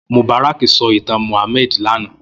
Mubarak sò itàn Muhammad làná